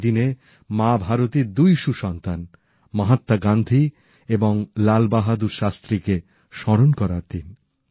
এই দিনে মা ভারতীর দুই সুসন্তান মহাত্মা গান্ধী এবং লাল বাহাদুর শাস্ত্রীকে স্মরণ করার দিন